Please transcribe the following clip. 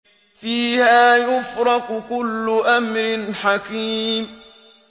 فِيهَا يُفْرَقُ كُلُّ أَمْرٍ حَكِيمٍ